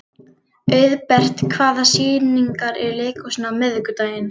Auðbert, hvaða sýningar eru í leikhúsinu á miðvikudaginn?